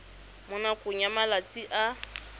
mo nakong ya malatsi a